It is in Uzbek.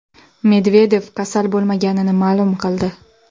Medvedev kasal bo‘lmaganini ma’lum qildi.